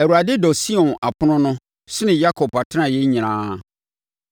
Awurade dɔ Sion apono no sene Yakob atenaeɛ nyinaa.